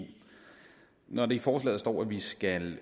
når der i forslaget står at vi skal